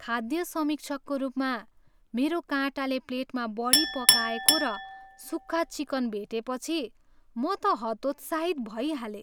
खाद्य समीक्षकको रूपमा, मेरो काँटाले प्लेटमा बढी पकाएको र सुक्खा चिकन भेटेपछि, म त हतोत्साहित भइ हालेँ ।